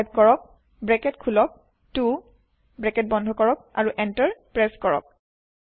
type কৰক bracket খোলাক 2 bracket বন্ধ কৰক আৰু এন্টাৰ প্ৰেছ কৰক